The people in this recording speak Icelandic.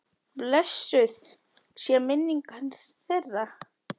Blessuð sé minning hans, þeirra.